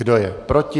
Kdo je proti?